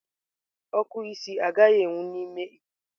Oku isi agaghị enwu n'ime ikuku.